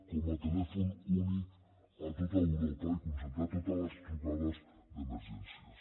com a telèfon únic a tot europa i concentrar totes les trucades d’emergències